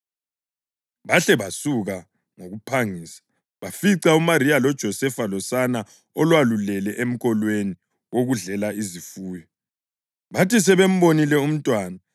Bahle basuka ngokuphangisa, bafica uMariya loJosefa losane olwalulele emkolweni wokudlela izifuyo.